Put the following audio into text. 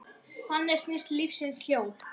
Þannig snýst lífsins hjól.